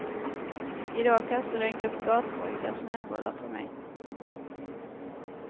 I dag kastade en grupp gatpojkar snöbollar på mig.